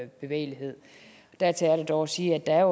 bevægelighed dertil er der dog at sige at der